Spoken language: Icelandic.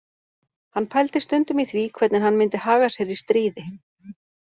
Hann pældi stundum í því hvernig hann myndi haga sér í stríði